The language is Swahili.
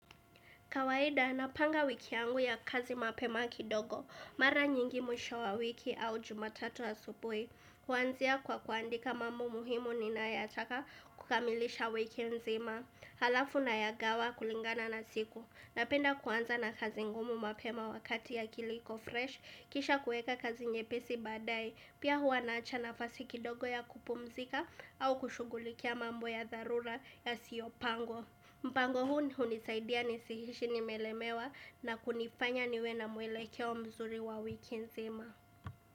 Kawaida, napanga wiki yangu ya kazi mapema kidogo, mara nyingi mwisho wa wiki au jumatatu asubuhi. Huanzia kwa kuandika mambo muhimu ninayoyataka kukamilisha wiki nzima. Halafu nayagawa kulingana na siku. Napenda kuanza na kazi ngumu mapema wakati akili iko freshi, kisha kuweka kazi nyepesi badaa ya hii, pia huwa naacha nafasi kidogo ya kupumzika au kushugulikia mambo ya dharura yasiyopangwa. Mpango huu hunisaidia nisiishi nimelemewa na kunifanya niwe na mwelekeo mzuri wa wiki nzima.